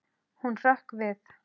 Hún hrökk við.